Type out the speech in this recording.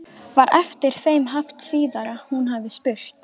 Var eftir þeim haft síðar að hún hafi spurt